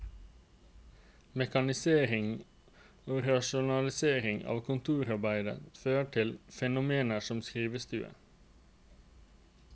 Mekaniseringen og rasjonaliseringen av kontorarbeidet førte til fenomener som skrivestuer.